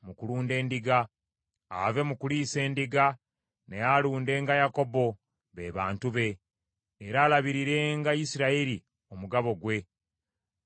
Ave mu kuliisa endiga, naye alundenga Yakobo, be bantu be, era alabirirenga Isirayiri omugabo gwe, gwe yeerondera.